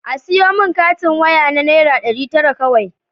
A siyo min katin waya na naira ɗari tara kawai